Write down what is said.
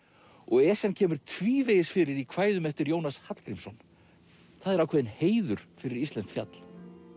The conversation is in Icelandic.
Esjan kemur tvívegis fyrir í kvæðum eftir Jónas Hallgrímsson það er ákveðinn heiður fyrir íslenskt fjall